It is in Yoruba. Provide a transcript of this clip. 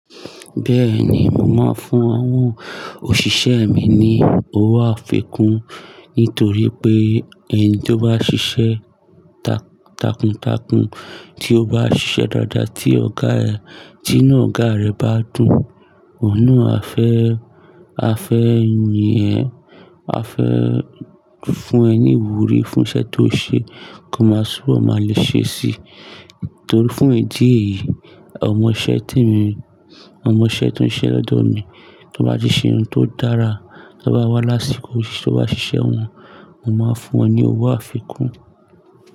Bẹ́ẹ̀ ni, mo máa ń fún àwọn òṣìṣẹ́ mi ní owó àfikún nítorí pé ẹni tí ó bá ṣiṣẹ́ ta takuntakun, tí ó bá ṣiṣẹ́ dáadáa tí ọ̀gá ẹ̀, tí inú ọ̀gá rẹ̀ bá dùn, òun á fẹ́, á fẹ́ yin ẹ̀, á fẹ́ fún ẹ ní ìwúrí fún iṣẹ́ tí ó ṣe kó ó máa túnbọ̀ má lè ṣe sí i. Torí fún ìdí èyí, ọmọ-iṣẹ́ tí mí, ọmọ-iṣẹ́ tó ń ṣiṣẹ́ lọ́odọ̀ mi tó bá ti ṣe ohun tó dára, tó bá wá lásìkò tí ó bá ṣiṣẹ́ wọn, mo máa fún wọn ní owó àfikún.